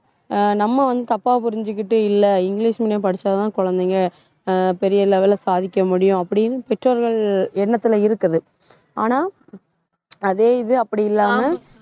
ஆஹ் நம்ம வந்து தப்பா புரிஞ்சுகிட்டு இல்லை இங்கிலிஷ் medium படிச்சாதான் குழந்தைங்க ஆஹ் பெரிய level ல சாதிக்க முடியும் அப்படின்னு பெற்றோர்கள் எண்ணத்துல இருக்குது. ஆனா அதே இது அப்படி இல்லாம